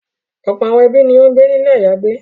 Ọ̀pọ̀ àwọn ẹbí ni ó ń gbé ní ilé àyágbé.